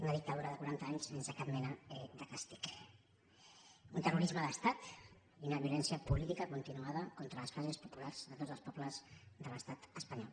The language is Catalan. una dictadura de quaranta anys sense cap mena de càstig un terrorisme d’estat i una violència política continuada contra les classes populars de tots els pobles de l’estat espanyol